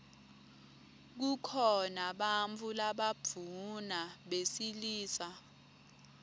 kukhona bantfu labadvuna besilisa